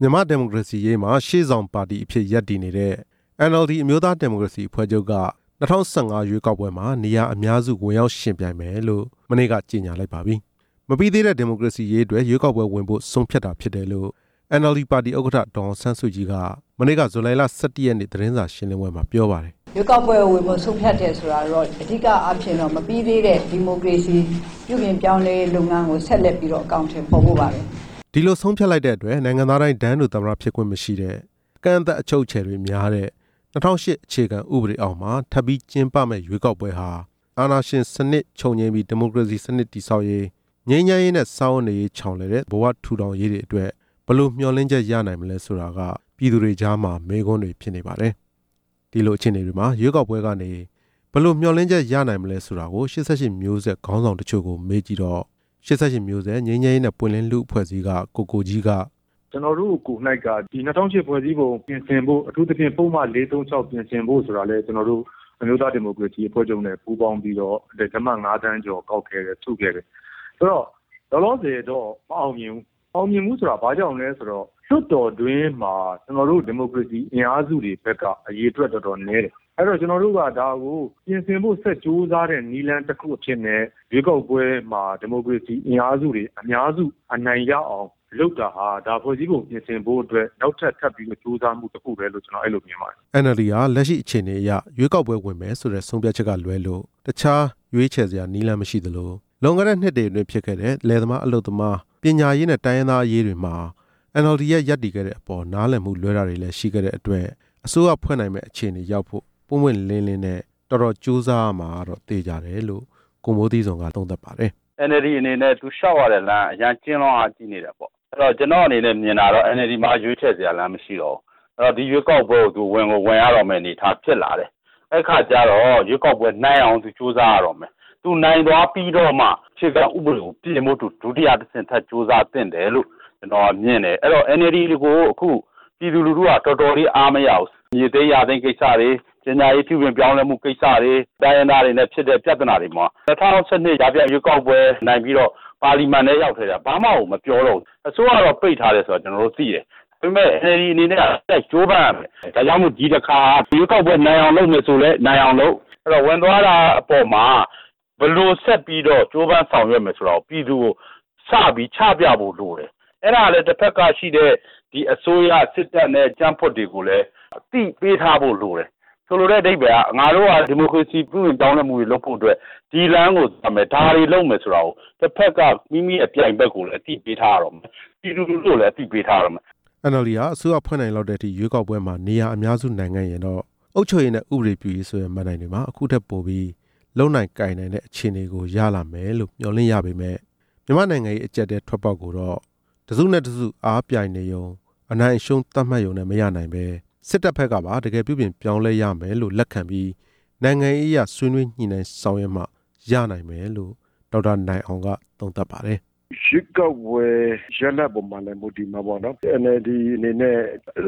မြန်မာ့ဒီမိုကရေစီရေးမှာ ရှေ့ဆောင်ပါတီအဖြစ်ရပ်တည်နေတဲ့ NLD အမျိုးသားဒီမိုကရေစီအဖွဲ့ချုပ်က ၂ဝ၁၅ ရွေးကောက်ပွဲမှာ နေရာအများစု ဝင်ရောက်ယှဉ်ပြိုင်မယ်လို့ မနေ့က ကြေညာလိုက်ပါပြီ။ မပြီးသေးတဲ့ ဒီမိုကရေစီရေးအတွက် ရွေးကောက်ပွဲဝင်ဖို့ ဆုံးဖြတ်တာဖြစ်တယ်လို့ NLD ပါတီ ဥက္ကဌ ဒေါ်အောင်ဆန်းစုကြည်က မနေ့က ဇူလိုင် ၁၁ ရက်နေ့ သတင်းစာရှင်းလင်းပွဲမှာ ပြောပါတယ်။ ရွေးကောက်ပွဲကိုဝင်ဖို့ ဆုံးဖြတ်တယ်ဆိုတာ အဒီကကတော့ မပြီးသေးတဲ့ ဒီမိုကရေစီပြုပြင်ပြောင်းလဲရေးလုပ်ငန်းကို ဆက်လက်ပြီးတော့ အကောင်အထည်ဖော်ဖို့ပါပဲ။ ဒီလိုဆုံးဖြတ်လိုက်တဲ့အတွက် နိုင်ငံသားတိုင်း တန်းတူသမ္မတဖြစ်ခွင့်မရှိတဲ့၊ အကန့်အသတ် အချုပ်အချယ်များတဲ့ ၂ဝဝ၈ အခြေခံဥပဒေအောက်မှာ ထပ်ပြီးကျင်းပမယ့်ရွေးကောက်ပွဲဟာ အာဏာရှင်စနစ်ချုပ်ငြိမ်းပြီး ဒီမိုကရေစီ စနစ် တည်ဆောက်ရေး၊ ငြိမ်းချမ်းရေးနဲ့ စားဝတ်နေရေး ချောင်လည်တဲ့ ဘဝထူထောင်ရေးတွေအတွက် ဘယ်လိုမျှော်လင့်ချက်ရနိုင်မလဲဆိုတာက ပြည်သူတွေကြားမှာ မေးခွန်းတွေဖြစ်နေပါတယ်။ ဒီလိုအခြေအနေတွေမှာ ရွေးကောက်ပွဲနဲ့ကနေ ဘယ်လိုမျှော်လင့်ချက် ရနိုင်မလဲဆိုတာ ၈၈ မျိုးဆက် ခေါင်းဆောင် တချို့ကိုမေးကြည့်တော့ ၈၈ မျိုးဆက်ငြိမ်းချမ်းရေးနဲ့ ပွင့်လင်းလူ့အဖွဲ့အစည်းက ကိုကိုကြီးက ကျနော်တို့ကိုယ်တိုင်က ဒီ ၂ဝဝ၈ ဖွဲ့စည်းပုံကိုပြင်ဆင်ဖို့ အထူးသဖြင့် ပုဒ်မ ၄၃၆ ပြင်ဖို့ဆိုတာ လည်း အမျိုးသားဒီမိုကရေစီအဖွဲ့ချုပ်နဲ့ ပူးပေါင်းပြီးတော့ လက်မှတ် ၅ သန်းကျော်ကောက်ခဲ့တယ်၊ အဲ့ဒီတော့ လောလောဆယ်တော့ မအောင်မြင်ဘူး၊ မအောင်မြင်ဘူးဆိုတာ ဘာကြောင့်လဲဆိုတော့ လွှတ်တော် အတွင်းမှာ ကျနော်တို့ ဒီမိုကရေစီအင်အားစုတွေဘက်က အရေအတွက်တော်တော်နည်းတယ်၊ အဲ့ဒီတော့ ကျနော်တို့က ဒါကိုပြင်ဆင်ဖို့ဆက်ကြိုးစားတဲ့ နည်းလမ်းတစ်ခုအဖြစ်နဲ့ ရွေးကောက်ပွဲမှာ ဒီမိုကရေစီအင်အားစုတွေ အများစုအနိုင်ရအောင်လုပ်တာဟာ ဒါဖွဲ့စည်းပုံကိုပြင်ဆင်ဖို့အတွက် နောက်ထပ် ထပ်ပြီးကြိုးစားမှု တစ်ခုပဲလို့ ကျနော်အဲ့ဒီလိုမြင်ပါတယ်။ NLD ဟာ လက်ရှိအခြေအနေအရ ရွေးကောက်ပွဲဝင်မယ်ဆိုတဲ့ ဆုံးဖြတ်ချက်ကလွဲလို့ တခြားနည်းလမ်း မရှိသလို၊ လွန်ခဲ့တဲ့နှစ်တွေအတွင်းဖြစ်ခဲ့တဲ့ လယ်သမား၊ အလုပ်သမား၊ ပညာရေးနဲ့ တိုင်းရင်းသားရေးတွေမှာ NLD ရပ်တည်ခဲ့တဲ့အပေါ် နားလည်မှုလွဲတာတွေရှိခဲ့တဲ့အတွက် အစိုးရဖွဲ့နိုင်မယ့်အခြေအနေရောက်ဖို့ ပွင့်ပွင့်လင်းလင်း နဲ့ ကြိုးစားဖို့လိုတယ်လို့ ကိုမိုးသီးဇွန်က သုံးသပ်ပါတယ်။ NLD အနေနဲ့ သူလျှောက်ရတဲ့လမ်းက အရမ်းကျဉ်းလွန်းအားကြီးနေတာပေါ့၊ အဲ့ဒီတော့ ကျနော်အနေနဲ့ မြင်တာကတော့ NLD မှာရွေးချယ်စရာလမ်း မရှိတော့ဘူး၊ အဲ့ဒီတော့ ဒီရွေးကောက်ပွဲကို သူဝင်ကိုဝင်ရတော့မယ့် အနေအထားဖြစ်လာတယ်၊ အဲ့ဒီအခါကျတော့ ရွေးကောက်ပွဲနိုင်အောင် သူကြိုးစားရတော့ မယ်၊ သူနိုင်သွားပြီးတော့မှ အခြေခံဥပဒေကိုပြင်ဖို့ ဒုတိယတဆင့် ထပ်ကြိုးစားသင့်တယ်လို့ ကျနော်ကမြင်တယ်၊ အဲ့ဒီတော့ NLD ကို အခုပြည်သူလူထုက တော်တော်လေးအားမရဘူး၊ မြေသိမ်းယာသိမ်းကိစ္စတွေ၊ ပညာရေးပြုပြင်ပြောင်းလဲရေးကိစ္စတွေ၊ တိုင်းရင်းသားတွေနဲ့ဖြစ်တဲ့ ပြဿနာတွေမှာ ၂ဝ၁၂ ကြားဖြတ်ရွေးကောက် ပွဲနိုင်ပြီးတော့ ပါလီမန်ထဲကိုရောက်ခဲ့တာ ဘာမှကိုမပြောတော့ဘူး၊ အစိုးရတော့ ပိတ်ထားတယ်ဆိုတာ ကျနော်တို့ သိတယ်၊ ဒါပေမယ့် NLD အနေနဲ့က ဆက်ကြိုးပမ်းရမယ်၊ ဒါကြောင့်မို့လို့ ဒီတစ်ခါရွေးကောက်ပွဲ နိုင်အောင်လုပ်မယ် ဆိုရင်လည်း နိုင်အောင်လုပ် အဲ့ဒီတော့ ဝင်သွားတာအပေါ်မှာ ဘယ်လိုဆက်ပြီးတော့ ကြိုးပမ်းဆောင်ရွက်မယ် ဆိုတာ ပြည်သူကိုစပြီးချပြဖို့လိုတယ်၊ အဲ့ဒါကလည်း တစ်ဘက်ကရှိသေးတယ် ဒီအစိုးရ စစ်တပ်နဲ့ ကြံ့ဖွံ့တွေ ကိုလည်း အသိပေးထားဖို့လိုတယ်၊ ဆိုလိုတဲ့အဓိပ္ပါယ်က ငါတို့ဟာဒီမိုကရေစီ ပြုပြင်ပြောင်းလဲမှုတွေလုပ်ဖို့အတွက် ဒီလမ်းကိုသွားမယ် ဒါတွေလုပ်မယ်ဆိုတာကို တစ်ဘက်ကပြိုင်ဘက်ကိုလည်း အသိပေးထားရတော့မယ်၊ ပြည်သူ လူထုကိုလည်း အသိပေးထားရတော့မယ်။ NLD ဟာ အစိုးရဖွဲ့နိုင်လောက်တဲ့အထိ ရွေးကောက်ပွဲမှာ နေရာအများစုနိုင်ခဲ့ရင်တော့ အုပ်ချုပ်ရေးနဲ့ ဥပဒေပြုရေး ဆိုတဲ့ မဏ္ဍိုင်တွေမှာ အခုထက်ပိုပြီး လုပ်နိုင်ကိုင်နိုင်တဲ့ အခြေအနေကိုရလာမယ်လို့ မျှော်လင့်ရပေမယ့်၊ မြန်မာ့ နိုင်ငံရေးအကြပ်အတည်း ထွက်ပေါက်ကိုတော့ တစ်စုနဲ့တစ်စုအားပြိုင်နေရုံ အနိုင်/အရှုံးသတ်မှတ်ယုံနဲ့မရနိုင်ပဲ စစ်တပ်ဘက်ကပါ တကယ်ပြုပြင်ပြောင်းလဲရမယ်လို့ လက်ခံပြီး နိုင်ငံရေးအရ ဆွေးနွေးညှိနှိုင်းဆောင်ရွက်နိုင်မှ ရနိုင်မယ်လို့ ဒေါက်တာနိုင်အောင်က သုံးသပ်ပါတယ်။ ရွေးကောက်ပွဲရလဒ်အပေါ်မှာလည်း မူတည်မှာပေါ့နော်၊ NLD အနေနဲ့